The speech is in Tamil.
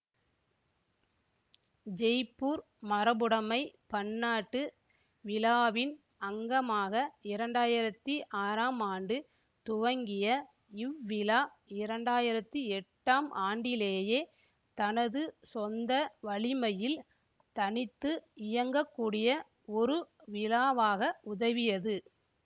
ஜெய்ப்பூர் மரபுடமை பன்னாட்டு விழாவின் அங்கமாக இரண்டாயிரத்தி ஆறாம் ஆண்டு துவங்கிய இவ்விழா இரண்டாயிரத்தி எட்டாம் ஆண்டிலேயே தனது சொந்த வலிமையில் தனித்து இயங்கக்கூடிய ஒரு விழாவாக உதவியது